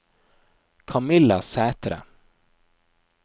Camilla Sæthre